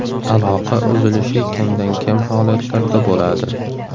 Aloqa uzilishi kamdan kam holatlarda bo‘ladi.